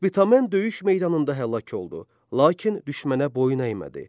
Spitamen döyüş meydanında həlak oldu, lakin düşmənə boyun əymədi.